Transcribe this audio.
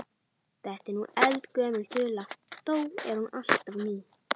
Þetta er eldgömul þula þó er hún alltaf ný.